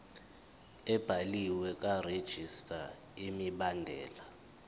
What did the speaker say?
ebhaliwe karegistrar imibandela